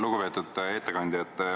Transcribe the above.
Lugupeetud ettekandja!